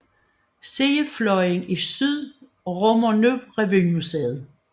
Sidefløjen i syd rummer nu Revymuseet